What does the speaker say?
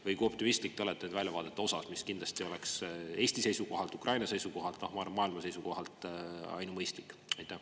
Või kui optimistlik te olete väljavaadete suhtes, mis kindlasti oleks Eesti seisukohalt, Ukraina seisukohalt ja ma arvan, et ka maailma seisukohalt ainumõistlik?